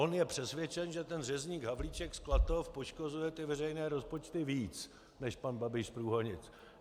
On je přesvědčen, že ten řezník Havlíček z Klatov poškozuje ty veřejné rozpočty víc než pan Babiš z Průhonic.